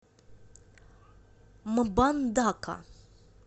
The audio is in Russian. мбандака